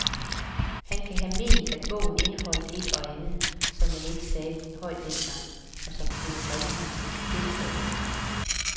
Han kan have ment, at bogen indeholdt et og andet, som man ikke sagde højt dengang, og som kunne bringe ham i fedtefadet.